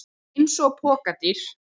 Eins og pokadýr!